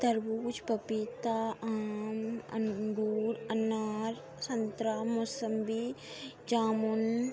तरबूज़ पपीता आम अंगूर अनार संतरा मोसम्बी जामुन --